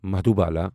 Madhubala